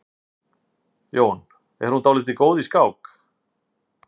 Jón: Er hún dálítið góð í skák?